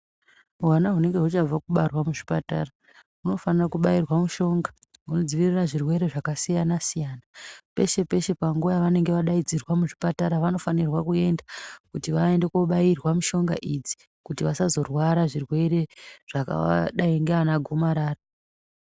Hwana hunenge huchabva kubarwa muzvipatara hunofana kubairwa mushonga inoadziirira kuzvirwere zvakasiyana-siyana. Peshe peshe panguva yavanenge vadaidzirwa kuzvipatara. vanofanirwa kuenda kuti vaende koobairwa mishonga idzi kuti vasazorwara zvirwere zvakadai ngeana gomarara.